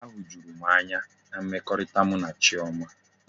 Ahujuru m anya na mmekọrịta mụ na Chioma.